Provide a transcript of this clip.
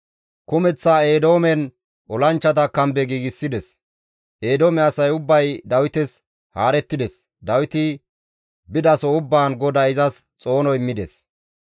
Kumeththa Eedoomen olanchchata kambe giigsides; Eedoome asay ubbay Dawites haarettides; Dawiti bidaso ubbaan GODAY izas xoono immides.